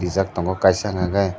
rijak tongo kaisa hingka kei.